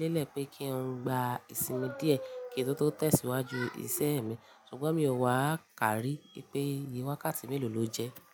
lélẹ̀ pé kí n gba ìsinmi díẹ̀ kí n tó tẹ̀síwájú ìṣe mi, ṣùgbọ́n mi ò wà ká rí pé iye wákàtí mélòó ló jẹ́.